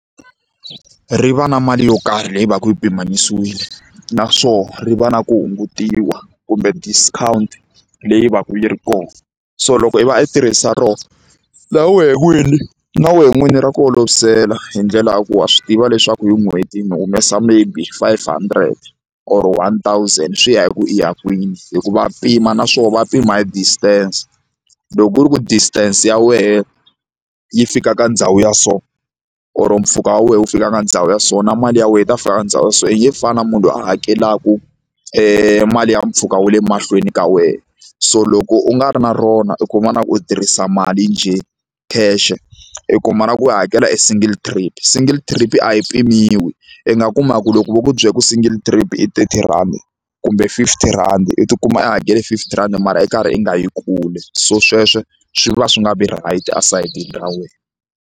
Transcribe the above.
Ri va na mali yo karhi leyi va ka yi pimanisiwile naswona ri va na ku hungutiwa kumbe discount leyi va ka yi ri kona so loko i va i tirhisa roho wena n'wini na wena n'wini ra ku olovisela hi ndlela ya ku wa swi tiva leswaku hi n'hweti ni humesa maybe five hundred or one thousand swi ya hi ku i ya kwini hi ku va pima na swona va pima hi distance loko ku ri ku distance ya wena yi fika ka ndhawu ya so or mpfhuka wa wena wu fika ka ndhawu ya so na mali ya wena ta fika ka ndhawu so yi nge fani na munhu loyi a hakelaka mali ya mpfhuka wa le mahlweni ka wena so loko u nga ri na rona i kuma na ku u tirhisa mali njhe cash i kuma na ku i hakela e single trap single trip a yi pimiwi i nga kuma ku loko vo ku byela ku single trip i thirty rand kumbe fifty rhandi u tikuma u hakele fifty rand mara i karhi i nga yi kule so sweswo swi va swi nga vi right esayitini ra wena.